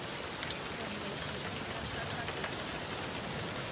kumbe xiyimo xa swa timali